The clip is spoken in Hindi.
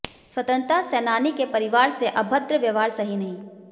स्वतंत्रता सेनानी के परिवार से अभद्र व्यवहार सही नहीं